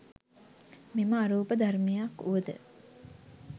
මෙම අරූප ධර්මයක් වුවද